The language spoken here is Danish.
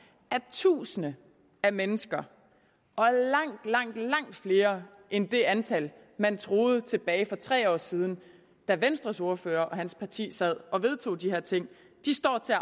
at tusinder af mennesker og langt langt flere end det antal man troede tilbage for tre år siden da venstres ordfører og hans parti sad og vedtog de her ting står til at